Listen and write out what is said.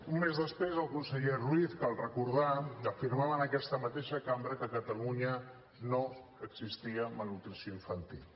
un mes després el conseller ruiz cal recordar que afirmava en aquesta mateixa cambra que a catalunya no existia malnutrició infantil